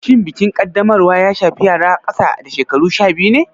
Shin bikin Kaddamarwa ya shafi yara ƙasa da shekaru sha biyu ne?